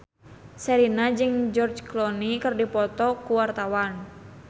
Sherina jeung George Clooney keur dipoto ku wartawan